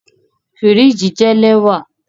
Firiji jẹ lẹwa